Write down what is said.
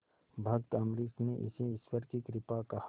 भक्त अम्बरीश ने इसे ईश्वर की कृपा कहा